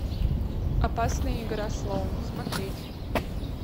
опасная игра слоун смотреть